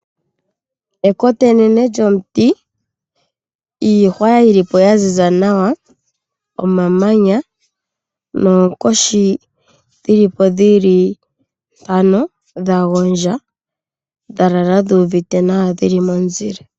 Ekota enene lyomuti, iihwa yili po yaziza nawa, omamanya noonkoshi dhili po dhili mpano dha gondja dha lala dhu uvite nawa dhili momuzile.